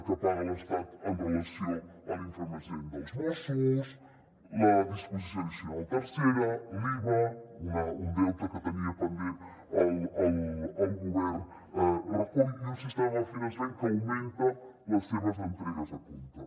que paga l’estat amb relació a l’infrafinançament dels mossos la disposició addicional tercera l’iva un deute que tenia pendent el govern rajoy i un sistema de finançament que augmenta les seves entregues a compte